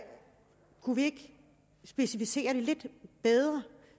kunne vi ikke specificere det lidt bedre